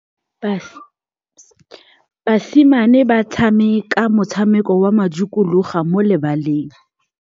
Basimane ba tshameka motshameko wa modikologô mo lebaleng.